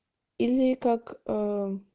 или как ээ